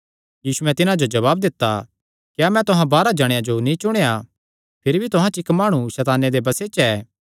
यीशुयैं तिन्हां जो जवाब दित्ता क्या मैं तुहां बारांह जणेयां जो नीं चुणेया भिरी भी तुहां च इक्क माणु सैताने दे बसे च ऐ